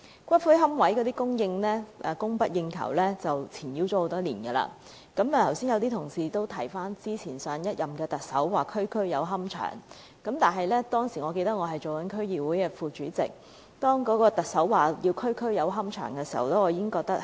骨灰龕位供不應求已纏繞我們多年，有同事剛才提到上屆特首說過要"區區有龕場"，當時我是區議會副主席，聽到特首這話，我非常懷疑是否可行。